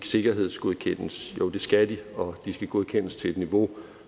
sikkerhedsgodkendes jo det skal de og de skal godkendes til et niveau